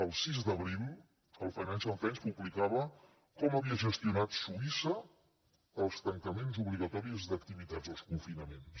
el sis d’abril el financial times publicava com havia gestionat suïssa els tancaments obligatoris d’activitats els confinaments